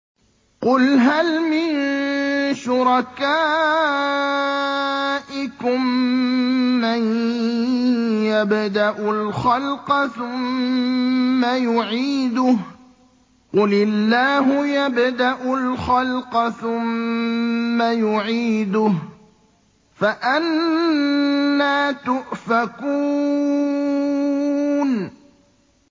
قُلْ هَلْ مِن شُرَكَائِكُم مَّن يَبْدَأُ الْخَلْقَ ثُمَّ يُعِيدُهُ ۚ قُلِ اللَّهُ يَبْدَأُ الْخَلْقَ ثُمَّ يُعِيدُهُ ۖ فَأَنَّىٰ تُؤْفَكُونَ